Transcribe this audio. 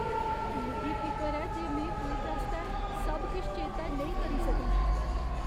मिगी फिकर ऐ जे में क्विज आस्तै सब किश चेतै नेईं करी सकङ।